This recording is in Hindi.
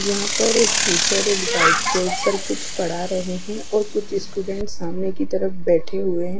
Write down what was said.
जहा पर एक टीचर एक बाइक के ऊपर कुछ पड़ा रहे है और कुछ स्टूडेंट्स सामने की तरफ बेठे हुए है।